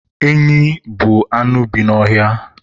Enyị bụ anụ bi n'ọhịa